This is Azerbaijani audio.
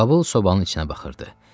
Babıl sobanın içinə baxırdı.